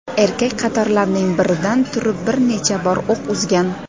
Erkak qatorlarning biridan turib bir necha bor o‘q uzgan.